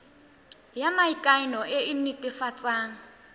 ya maikano e e netefatsang